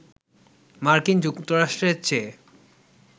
মার্কিন যুক্তরাষ্ট্রের চেয়ে